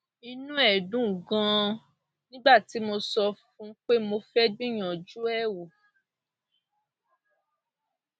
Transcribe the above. inú ẹ dùn ganan nígbà tí mo sọ fún un pé mo fẹẹ gbìyànjú ẹ wò